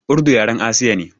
Urdu yaren Asiya ne.